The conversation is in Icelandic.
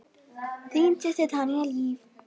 Þín systir, Tanya Líf.